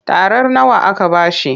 Tarar nawa aka ba shi?